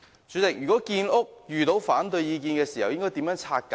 主席，如果建屋遇到反對意見，應如何拆解？